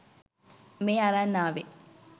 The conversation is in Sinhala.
මේ අරන් ආවෙ